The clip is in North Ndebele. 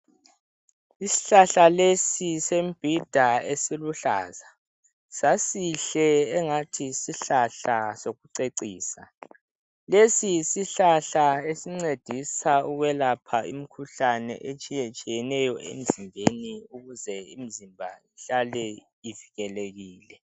Isihlahla lesi sembhida esiluhlaza. Sasihle engathi yisihlahla sokucecisa. Lesi yisihlahla esincedisa ukwelapha imikhuhlane, etshiyetshiyeneyo emzimbeni. Ukuze imzimba ihlale ivikelekile.